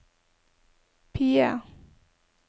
PIE